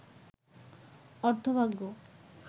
অর্থভাগ্য